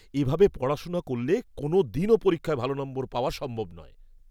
এ ভাবে পড়াশোনা করলে, কোনও দিন পরীক্ষায় ভাল নম্বর পাওয়া সম্ভব নয়।